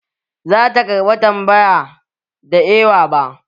Za ta karɓa tambaya ba da ewa ba.